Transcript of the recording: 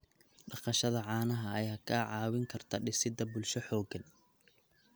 Dhaqashada caanaha ayaa kaa caawin karta dhisidda bulsho xooggan.